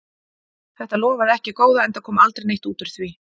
Þetta lofaði ekki góðu, enda kom aldrei neitt út úr því.